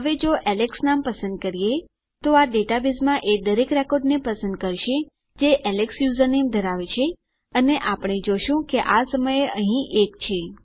હવે જો એલેક્સ નામ પસંદ કરીએ તો આ ડેટાબેઝમાં એ દરેક રેકોર્ડને પસંદ કરશે જે એલેક્સ યુઝરનેમ ધરાવે છે અને આપણે જોશું આ સમયે અહીં એક છે